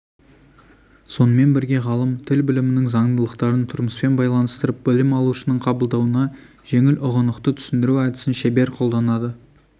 сонымен бірге ғалым тіл білімінің заңдылықтарын тұрмыспен байланыстырып білім алушының қабылдауына жеңіл ұғынықты түсіндіру әдісін шебер қолданады